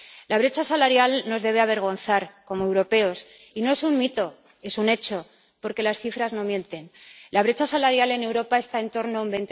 La brecha salarial nos debe avergonzar como europeos y no es un mito, es un hecho, porque las cifras no mienten. La brecha salarial en Europa está en torno al